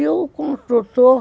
E o construtor...